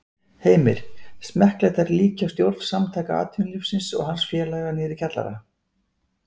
Heimir: Smekklegt að líkja stjórn Samtaka atvinnulífsins og hans félaga niðri í kjallara?